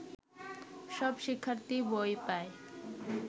সব শিক্ষার্থী বই পায়